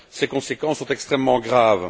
Ses conséquences sont extrêmement graves.